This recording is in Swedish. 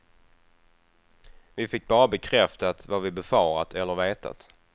Vi fick bara bekräftat vad vi befarat eller vetat.